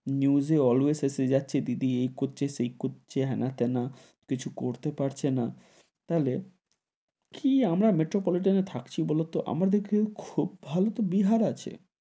News এ always এসে যাচ্ছে দিদি এই করছে, সেই করছে, হেনা-টানা, কিছু করতে পারছে না, তাহলে, কি আমরা metropolitan এ থাকছি বোলো তো, আমাদের থেকে খুব ভালো তো বিহার আছে,